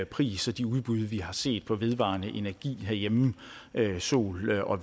pris og de udbud vi har set på vedvarende energi herhjemme sol og